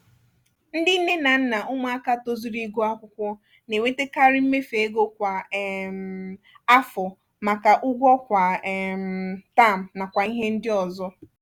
ndị nne na nna ụmụaka tozuru ịgụ akwụkwọ na-enwetekari mmefu ego kwa um afọ maka ụgwọ kwa um taam nakwa ihe ndị ọzọ